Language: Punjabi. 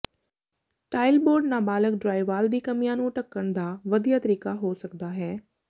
ਟਾਇਲ ਬੋਰਡ ਨਾਬਾਲਗ ਡਰਾਇਵਾਲ ਦੀ ਕਮੀਆਂ ਨੂੰ ਢੱਕਣ ਦਾ ਵਧੀਆ ਤਰੀਕਾ ਹੋ ਸਕਦਾ ਹੈ